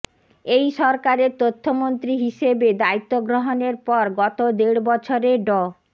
এই সরকারের তথ্যমন্ত্রী হিসেবে দায়িত্ব গ্রহণের পর গত দেড় বছরে ড